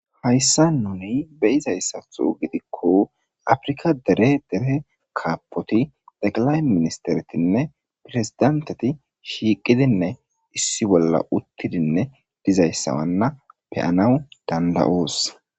hayssa nuni beyizayssatho gidikko afrika dere dere kaapoti daqalay ministeretinne pirezidenteti shiiqidinne issi bolla uttidinne dizayssawanna beyanawu danda7oos